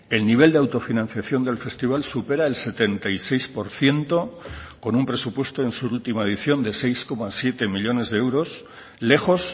el nivel de autofinanciación del festival supera el setenta y seis por ciento con un presupuesto en su última edición de seis coma siete millónes de euros lejos